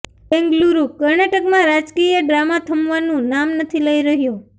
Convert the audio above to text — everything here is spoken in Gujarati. બેંગલુરુઃ કર્ણાટકમાં રાજકીય ડ્રામા થમવાનું નામ નથી લઈ રહ્યો